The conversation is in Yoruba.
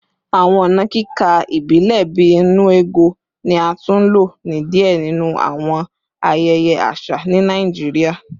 Awọn ọna kika ibilẹ bii “nnu ego” ni a tun lo ni diẹ ninu awọn ayẹyẹ aṣa ni Naijiria